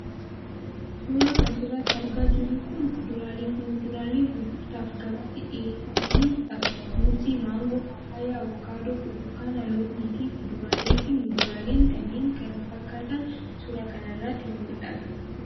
Suuraan as irratti argaa jirru kun kuduraalee fi muduraalee gurgurtaaf gabaatti dhiyeeffamanii dha. Muuzii, Maangoo, paappayaa, Abokaadoo, Burtukaana, loomii fi kuduraalee fi muduraaleen kanneen kana fakkaatan suuraa kana irratti ni mul'atu.